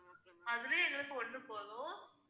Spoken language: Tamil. அதுவே எங்களுக்கு ஒண்ணு போதும்